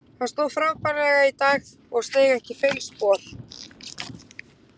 Hann stóð frábærlega í dag og steig ekki feilspor.